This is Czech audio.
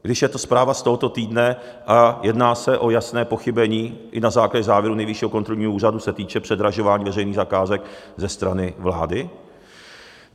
Když je to zpráva z tohoto týdne a jedná se o jasné pochybení i na základě závěru Nejvyššího kontrolního úřadu, se týče předražování veřejných zakázek ze strany vlády?